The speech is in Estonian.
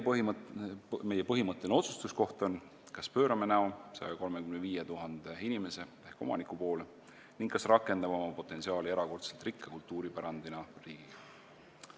Meie põhimõtteline otsustuskoht on, kas pöörame näo 135 000 inimese ehk omaniku poole ning kas rakendame oma potentsiaali erakordselt rikka kultuuripärandiga riigina.